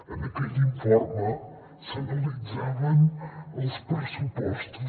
en aquell informe s’analitzaven els pressupostos